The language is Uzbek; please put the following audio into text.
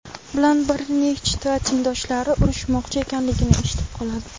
bilan bir nechta tengdoshlari urishmoqchi ekanligini eshitib qoladi.